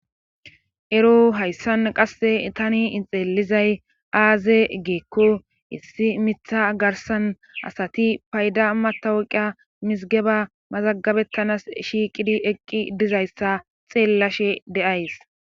Ero hayssan qasse tani ixeelizay aaze geekko issi mitha garsan asati payda matawuqia mizigeba mazagabettanas shiiqidi eqqi dizayssa xeellashe de7ays.